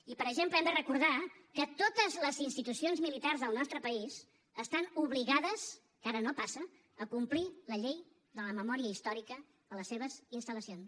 i per exemple hem de recordar que totes les institucions militars del nostre país estan obligades que ara no passa a complir la llei de la memòria històrica a les seves instal·lacions